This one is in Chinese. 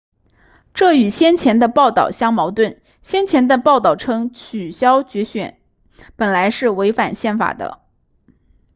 这与先前的报道相矛盾先前的报道称取消决选本来是违反宪法的